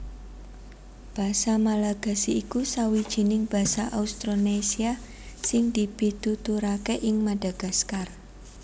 Basa Malagasy iku sawijining basa Austronésia sing dipituturaké ing Madagaskar